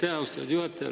Aitäh, austatud juhataja!